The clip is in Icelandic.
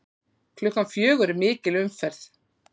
Klukkan fjögur er mikil umferð.